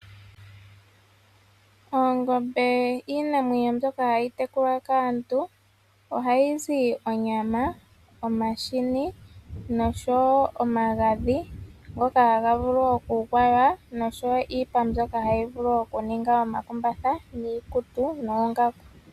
Oongombe iinamwenyo mbyoka hayi tekulwa kaantu, ohayi zi onyama, omahini noshowo omagadhi ngoka haga vulu okugwaywa noshowo iipa mbyoka hayi vulu okuninga omakumbatha niikutu noongaku.